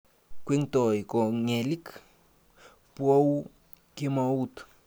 Kwengtoi kogelik, bou kemout